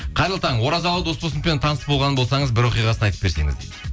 қайырлы таң оразалы досболсыновпен таныс болған болсаңыз бір оқиғасын айтып берсеңіз дейді